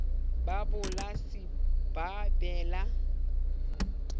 ba polasi ba be le